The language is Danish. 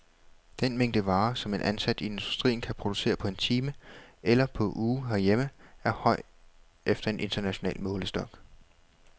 Den mængde varer, som en ansat i industrien kan producere på en time eller på uge herhjemme, er høj efter en international målestok.